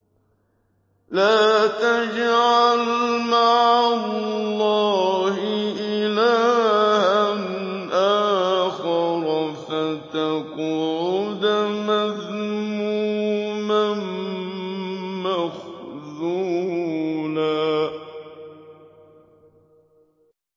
لَّا تَجْعَلْ مَعَ اللَّهِ إِلَٰهًا آخَرَ فَتَقْعُدَ مَذْمُومًا مَّخْذُولًا